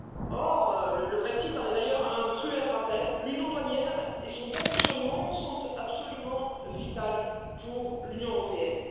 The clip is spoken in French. Or le Brexit en est d'ailleurs un cruel rappel l'union douanière et son bon fonctionnement sont absolument vitaux pour l'Union européenne.